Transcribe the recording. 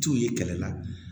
T'u ye kɛlɛ la